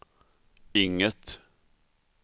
inget